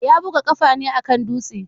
Ya buga kafa ne a kan dutse.